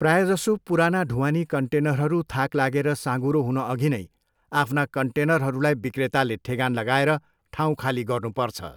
प्रायःजसो, पुराना ढुवानी कन्टेनरहरू थाक लागेर साँघुरो हुन अघि नै आफ्ना कन्टेनरहरूलाई बिक्रेताले ठेगान लगाएर ठाउँ खाली गर्नुपर्छ।